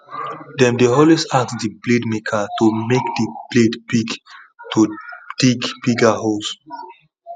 them dey always ask the blade maker to make the blade big to dig bigger holes